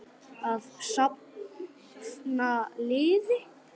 Að safna liði!